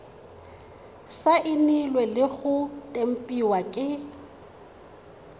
saenilwe le go tempiwa ke